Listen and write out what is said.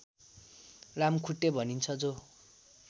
लामखुट्टे भनिन्छ जो